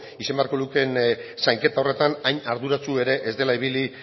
izan beharko lukeen zainketa horretan hain arduratsu ere ez dela ibili